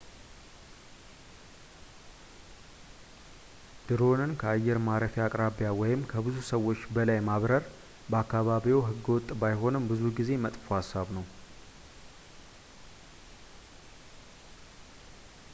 ድሮንን ከአየር ማረፊያ አቅራቢያ ወይም ከብዙ ሰዎች በላይ ማብረር በአካባቢዎ ህገወጥ ባይሆንም ብዙ ጊዜ መጥፎ ሃሳብ ነው